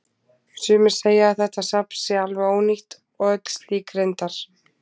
Sumir segja að þetta safn sé alveg ónýtt og öll slík reyndar.